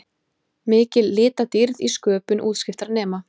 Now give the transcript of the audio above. Mikil litadýrð í sköpun útskriftarnema